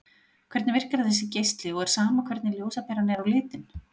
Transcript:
Hvernig virkar þessi geisli og er sama hvernig ljósaperan er á litinn?